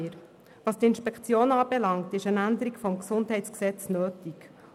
Was die Inspektionen anbelangt, ist eine Änderung des GesG nötig.